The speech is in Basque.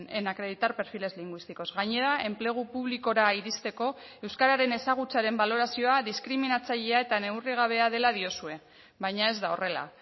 en acreditar perfiles lingüísticos gainera enplegu publikora iristeko euskararen ezagutzaren balorazioa diskriminatzailea eta neurrigabea dela diozue baina ez da horrela